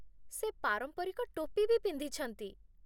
ସେ ପାରମ୍ପରିକ ଟୋପି ବି ପିନ୍ଧିଛନ୍ତି ।